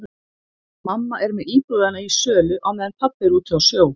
Mamma er með íbúðina í sölu á meðan pabbi er úti á sjó.